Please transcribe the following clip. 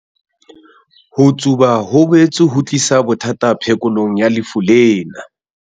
Ho tsuba ho boetse ho tlisa bothata phekolong ya lefu lena.